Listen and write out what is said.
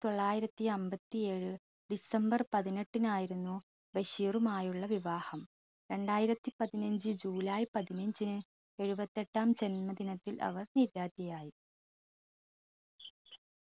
തൊള്ളായിരത്തി അമ്പത്തിയേഴ് ഡിസംബർ പതിനെട്ടിനായിരുന്നു ബഷീറുമായുള്ള വിവാഹം രണ്ടായിരത്തി പതിനഞ്ചു ജൂലൈ പതിനഞ്ചിന് എഴുപത്തെട്ടാം ജന്മദിനത്തിൽ അവർ നിര്യാതയായി.